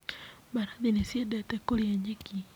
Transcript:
Mbarathi nĩ ciendete kũrĩa nyeki.